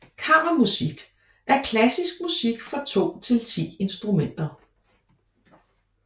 Kammermusik er klassisk musik for to til ti instrumenter